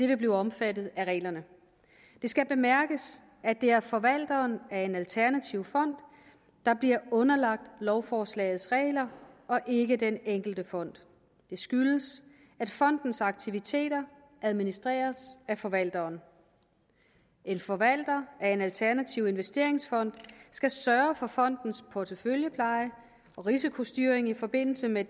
vil blive omfattet af reglerne det skal bemærkes at det er forvalteren af en alternativ fond der bliver underlagt lovforslagets regler og ikke den enkelte fond det skyldes at fondens aktiviteter administreres af forvalteren en forvalter af en alternativ investeringsfond skal sørge for fondens porteføljepleje og risikostyring i forbindelse med